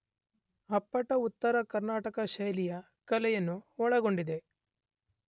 ಅಪ್ಪಟ ಉತ್ತರ ಕರ್ನಾಟಕ ಶೈಲಿಯ ಕಲೆಯನ್ನು ಒಳಗೊಂಡಿದೆ.